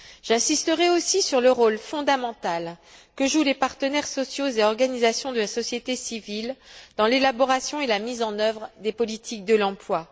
J'insisterai aussi sur le rôle fondamental que jouent les partenaires sociaux et organisations de la société civile dans l'élaboration et la mise en œuvre des politiques de l'emploi.